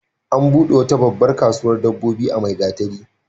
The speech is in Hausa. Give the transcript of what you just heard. An buɗe wata babbar kasuwar dabbobi a Maigatari.